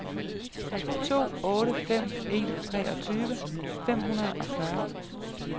to otte fem en treogtyve fem hundrede og fyrre